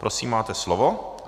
Prosím, máte slovo.